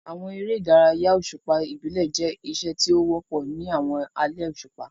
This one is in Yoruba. Àwọn eré ìdárayá òṣùpá ìbílẹ̀ jẹ́ iṣẹ́ tí ó wọ́pọ̀ ní àwọn alẹ́ òṣùpá.